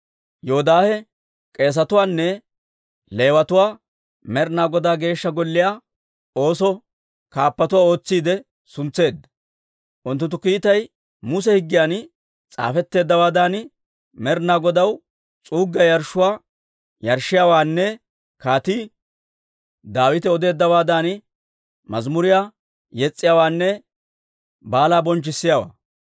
Yoodaahe k'eesetuwaanne Leewatuwaa Med'inaa Godaa Geeshsha Golliyaa oosoo kaappuwaa ootsiide suntseedda. Unttunttu kiitay Muse higgiyan s'aafetteeddawaadan Med'inaa Godaw s'uuggiyaa yarshshuwaa yarshshiyaawaanne Kaatii Daawite odeeddawaadan mazimuriyaa yes's'iyaawaanne baalaa bonchchissiyaawaa.